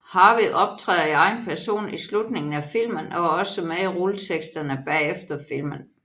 Harvey optræder i egen person i slutningen af filmen og er også med i rulleteksterne bagefter filmen